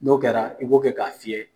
N'o kɛra, i b'o kɛ ka fiyɛ.